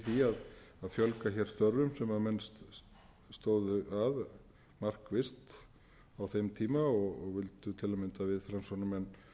fjölga hér störfum sem menn stóðu að markvisst á þeim tíma og vildu til að mynda við framsóknarmenn